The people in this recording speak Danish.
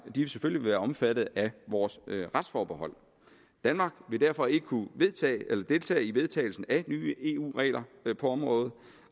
selvfølgelig omfattet af vores retsforbehold danmark vil derfor ikke kunne vedtage eller deltage i vedtagelsen af nye eu regler på området